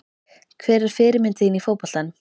Hver er fyrirmynd þín í fótboltanum?